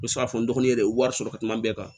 U bɛ se k'a fɔ n dɔgɔnin de ye wari sɔrɔ ka kuma bɛɛ kan